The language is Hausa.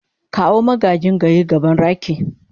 kawo magagin gayi gaban raki.